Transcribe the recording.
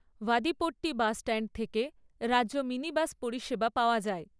Vadipatti bus stand থেকে রাজ্য minibus পরিষেবা পাওয়া যায়।